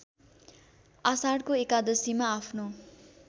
आषाढको एकादशीमा आफ्नो